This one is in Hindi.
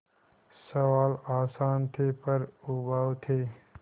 सवाल आसान थे पर उबाऊ थे